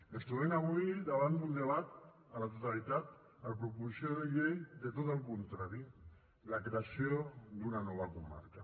ens trobem avui davant d’un debat a la totalitat a la proposició de llei de tot el contrari la creació d’una nova comarca